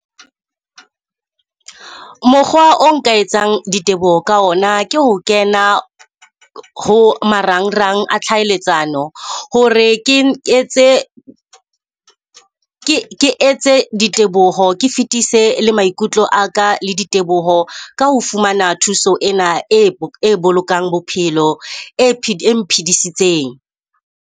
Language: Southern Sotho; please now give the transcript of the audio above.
Mokgwa o nka etsang diteboho ka ona ke ho kena ho marangrang a tlhaelatsano, hore ke ke etse ke ke etse diteboho. Ke fetise le maikutlo a ka le diteboho ka ho fumana thuso ena e e bolokang bophelo e e mphidisitseng.